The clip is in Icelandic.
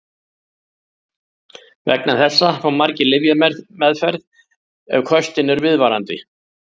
Vegna þessa fá margir lyfjameðferð ef köstin eru viðvarandi.